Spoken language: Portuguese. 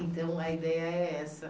Então, a ideia é essa.